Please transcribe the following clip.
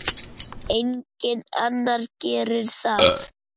Enginn annar gerir það.